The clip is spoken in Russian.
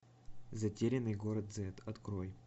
затерянный город зэт открой